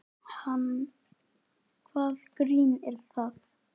Hvaða grín er það?